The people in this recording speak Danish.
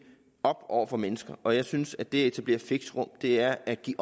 op over for mennesker og jeg synes at det at etablere fixerum er at give